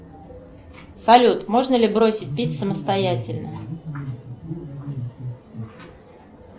салют можно ли бросить пить самостоятельно